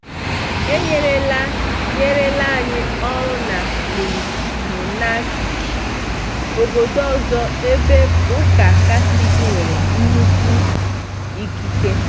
E nyerela nyerela anyị ọrụ na LimMunachik, obodo ọzọ ebe Ụka Katọlik nwere nnukwu ikike.